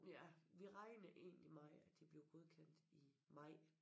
Ja vi regner egentlig med at de bliver godkendt i maj